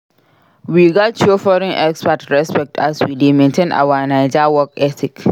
We gats show foreign expat respect as we dey maintain our Naija work ethic.